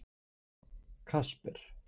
Kasper